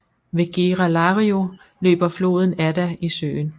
Ved Gera Lario løber floden Adda i søen